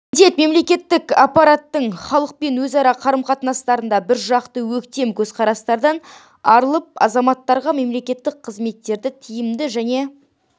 міндет мемлекеттік аппараттың халықпен өзара қарым-қатынастарында біржақты-өктем көзқарастардан арылып азаматтарға мемлекеттік қызметтерді тиімді және